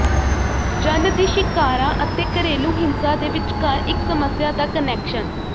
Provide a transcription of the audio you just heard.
ਜਨ ਦੀ ਸ਼ਿਕਾਰਾਂ ਅਤੇ ਘਰੇਲੂ ਹਿੰਸਾ ਦੇ ਵਿਚਕਾਰ ਇੱਕ ਸਮੱਸਿਆ ਦਾ ਕਨੈਕਸ਼ਨ